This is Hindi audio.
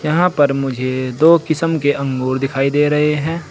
यहां पर मुझे दो किसम के अंगूर दिखाई दे रहे है।